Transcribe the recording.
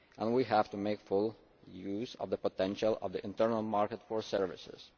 We have to make full use of the potential of the internal market for services.